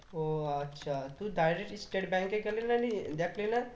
ও আচ্ছা তুই direct State Bank এ গেলি না নিয়ে দেখলি না